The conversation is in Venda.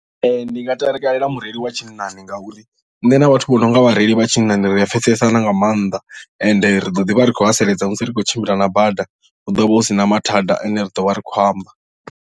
Ndi nga takalela mureili wa tshinnani ngauri nṋe na vhathu vho no nga vhareili vha tshinnani ri a pfhesesa na nga maanḓa ende ri ḓo ḓivha ri khou haseledza musi ri tshi khou tshimbila na bada hu ḓovha hu sina mathada ane ri ḓo vha ri khou amba.